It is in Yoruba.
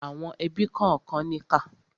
Àwọn ẹbí kànkan níkà.